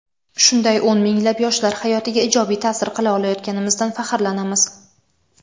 Shunday o‘n minglab yoshlar hayotiga ijobiy ta’sir qila olayotganimizdan faxrlanamiz.